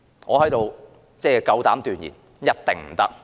我夠膽斷言：一定不可以。